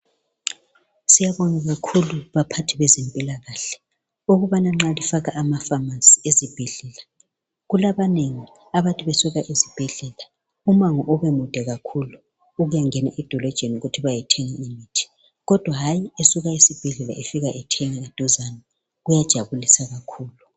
Siyabonga kakhulu baphathi bezempilakahle ukubana nxa lifaka amafamasi ezibhedlela kulabanengi abantu besuka esibhedlela umango ubemude kakhulu ukuyangena edolojeni ukuthi bayethenga imithi kodwa hayi esuka esibhedlela efika ethenga eduzane kuyajabulisa kakhulu.